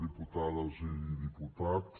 diputades i diputats